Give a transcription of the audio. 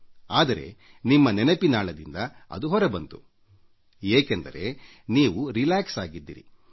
ಆದರೆ ನಿಮ್ಮ ನೆನಪಿನಾಳದಿಂದ ಅದು ಹೊರಬಂತು ಏಕೆಂದರೆ ನೀವು ವಿಶ್ರಾಂತ ಸ್ಥಿತಿಯಲ್ಲಿ ಆಗಿರುತ್ತೀರಿ